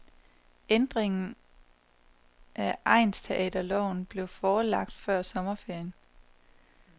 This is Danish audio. Ændringen af egnsteaterloven blev forelagt før sommerferien.